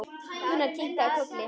Gunnar kinkaði kolli.